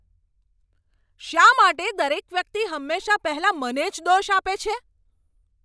શા માટે દરેક વ્યક્તિ હંમેશા પહેલાં મને જ દોષ આપે છે?